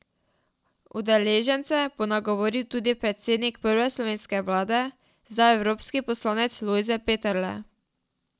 Udeležence bo nagovoril tudi predsednik prve slovenske vlade, zdaj evropski poslanec Lojze Peterle.